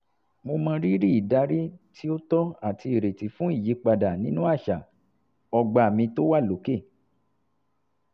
mo mọrírì ìdarí tí ó tọ́ àti ìrètí fún ìyípadà nínú àṣà ogba mi tó wà lókè